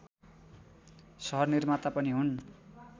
सहनिर्माता पनि हुन्